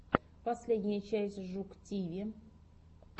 последняя часть жук тиви